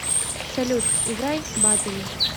салют играй баттери